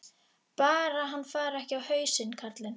Bara hann fari ekki á hausinn, karlinn.